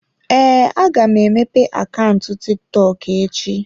Ee, aga m emepe akaụntụ TikTok echi.